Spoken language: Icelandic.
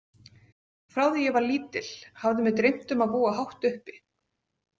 Frá því ég var lítil hafði mig dreymt um að búa hátt uppi.